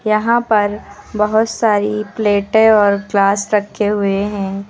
यहां पर बहुत सारी प्लेटें और ग्लास रखे हुए है।